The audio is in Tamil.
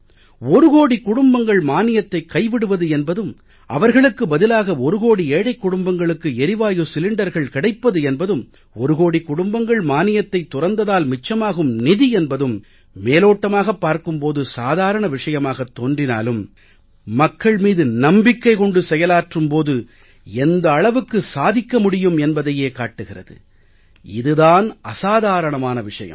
ஒரு கோடிக் குடும்பங்கள் மானியத்தைக் கைவிடுவது என்பதும் அவர்களுக்கு பதிலாக ஒரு கோடி ஏழைக் குடும்பங்களுக்கு எரிவாயு சிலிண்டர்கள் கிடைப்பது என்பதும் ஒரு கோடிக் குடும்பங்கள் மானியத்தைத் துறந்ததால் மிச்சமாகும் நிதி என்பதும் மேலோட்டமாகப் பார்க்கும் போது சாதாரணமான விஷயமாகத் தோன்றினாலும் மக்கள் மீது நம்பிக்கை கொண்டு செயலாற்றும் போது எந்த அளவுக்கு சாதிக்க முடியும் என்பதையே காட்டுகிறது இது தான் அசாதாரணமான விஷயம்